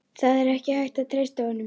Það er ekki hægt að treysta honum.